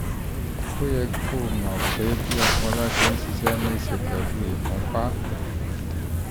ó yẹ kó o mọ̀ pé bí ọpọlọ ṣe ń ṣiṣẹ́ ní í ṣe pẹ̀lú ìfúnpá